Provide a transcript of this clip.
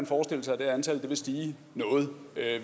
forestille sig at det antal vil stige noget